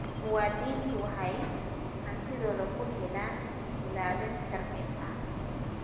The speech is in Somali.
Muwaadiniintu waxay hantidooda ku helaan ilaalin sharci ah.